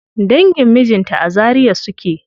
Dangin mijinta a Zaria suke.